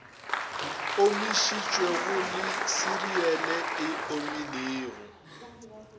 omišitšwego le seriele e omilego